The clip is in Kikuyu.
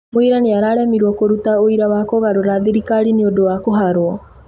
Mũira nĩararemirwo kũruta ũira wa kũgarũra thirikari nĩũndũ wa kũharwo